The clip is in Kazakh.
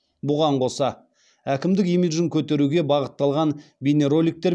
бұған қоса әкімдік имиджін көтеруге бағытталған бейнероликтер